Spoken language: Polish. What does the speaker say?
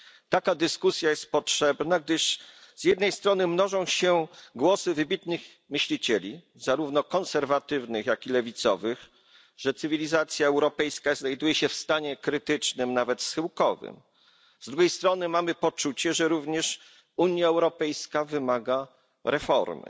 Taka dyskusja jest potrzebna, gdyż z jednej strony mnożą się głosy wybitnych myślicieli, zarówno konserwatywnych, jak i lewicowych, że cywilizacja europejska znajduje się w stanie krytycznym, nawet schyłkowym. Z drugiej strony mamy poczucie, że również Unia Europejska wymaga reformy.